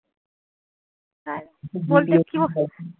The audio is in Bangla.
বলতে